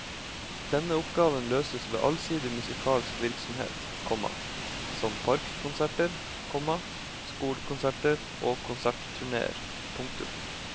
Denne oppgaven løses ved allsidig musikalsk virksomhet, komma som parkkonserter, komma skolekonserter og konsertturneer. punktum